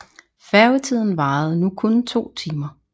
Færgetiden varede nu kun 2 timer